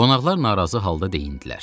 Qonaqlar narazı halda deyinndilər.